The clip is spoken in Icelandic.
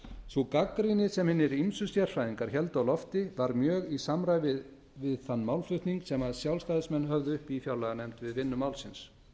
sú gagnrýni sem hinir ýmsu sérfræðingar héldu á lofti var mjög í samræmi við þann málflutning sem sjálfstæðismenn höfðu uppi í fjárlaganefnd við vinnu málsins